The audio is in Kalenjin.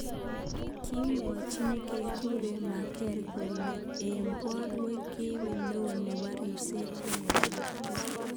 Kimwachi nekekure Merker kolu eng borwek kiibe neo nebo ribset eng olotok.